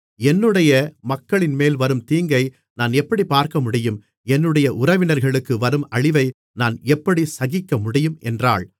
என்னுடைய மக்களின்மேல் வரும் தீங்கை நான் எப்படிப் பார்க்கமுடியும் என்னுடைய உறவினர்களுக்கு வரும் அழிவை நான் எப்படி சகிக்கமுடியும் என்றாள்